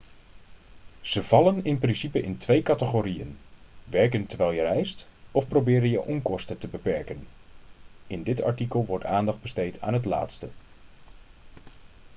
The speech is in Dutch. ze vallen in principe in twee categorieën werken terwijl je reist of proberen je onkosten te beperken in dit artikel wordt aandacht besteed aan het laatste